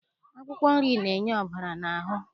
Akwụkwọ nri na-enye ọbara n'ahụ